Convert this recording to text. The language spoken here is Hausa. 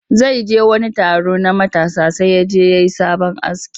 Zai je wani taro na matasa sai ya je ya yi sabo aski